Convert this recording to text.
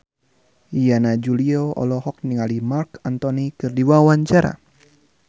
Yana Julio olohok ningali Marc Anthony keur diwawancara